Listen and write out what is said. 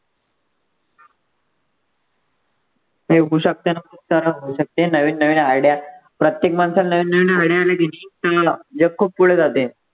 ते होऊ शकते ना होऊ शकते, नवीन नवीन आढ्या प्रत्येक माणसाला नवीन नवीन आढ्या आल्या की नाही जग पुढे जाते.